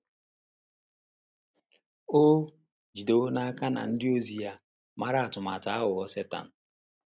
O jidewo n’aka na ndị ozi ya maara atụmatụ aghụghọ Setan.